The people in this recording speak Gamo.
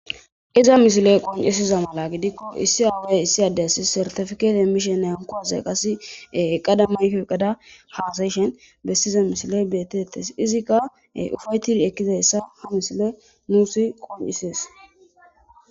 Iza misile qoncisiza mala gidikko issi addey issi addeysi sertifikete emishen nankuaze qase qadamayko qada haasayishen bessiza mishiley beetetes izikka ufaytid ekkizayssa ha misile nuusi qoncisees.